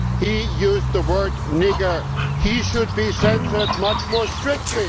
He used the word nigger' and should be censured much more strictly.